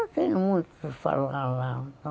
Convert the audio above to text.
Não tem muito o que falar lá.